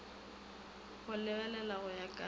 go lebelela go ya ka